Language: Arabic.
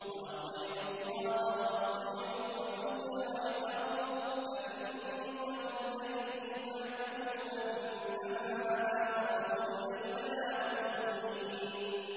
وَأَطِيعُوا اللَّهَ وَأَطِيعُوا الرَّسُولَ وَاحْذَرُوا ۚ فَإِن تَوَلَّيْتُمْ فَاعْلَمُوا أَنَّمَا عَلَىٰ رَسُولِنَا الْبَلَاغُ الْمُبِينُ